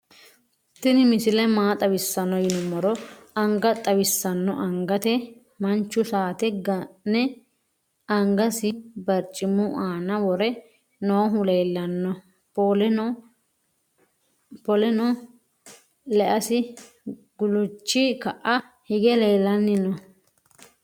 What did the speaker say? tinni misile maa xawisano yinumoro anga xawisano angate manchu satte ga'ne angasi barcimu anna wore noohu leelano polenno leasi guluchi ka"a hige lelanni noo.